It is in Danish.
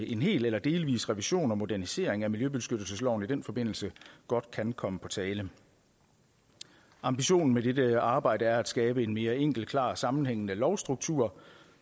en hel eller delvis revision og modernisering af miljøbeskyttelsesloven i den forbindelse godt kan komme på tale ambitionen med dette arbejde er at skabe en mere enkel klar og sammenhængende lovstruktur